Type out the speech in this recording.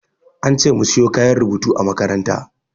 An ce mu siyo kayan rubutu a makaranta.